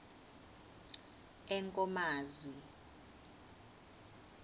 enkomazi